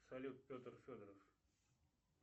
салют петр федоров